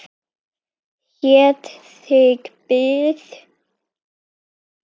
Heitt þig bið!